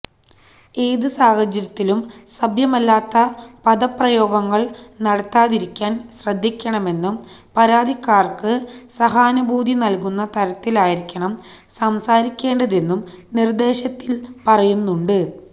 ഏത് സാഹചര്യത്തിലും സഭ്യമല്ലാത്ത പദപ്രയോഗങ്ങൾ നടത്താതിരിക്കാൻ ശ്രദ്ധിക്കണമെന്നും പരാതിക്കാർക്ക് സഹാനുഭൂതി നൽകുന്ന തരത്തിലായിരിക്കണം സംസാരിക്കേണ്ടതെന്നും നിർദേശത്തിൽ പറയുന്നുണ്ട്